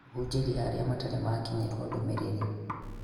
Kũhũnjĩria arĩa matarĩ maakinyĩrwo ndũmĩrĩr